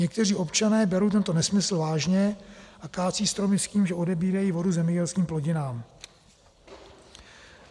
Někteří občané berou tento nesmysl vážně a kácejí stromy s tím, že odebírají vodu zemědělským plodinám.